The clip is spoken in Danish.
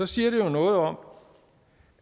siger jo noget om